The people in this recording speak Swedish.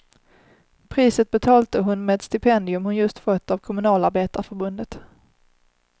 Priset betalte hon med ett stipendium hon just fått av kommunalarbetarförbundet.